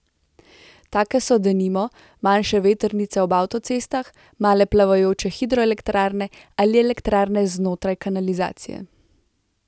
Take so, denimo, manjše vetrnice ob avtocestah, male plavajoče hidroelektrarne ali elektrarne znotraj kanalizacije.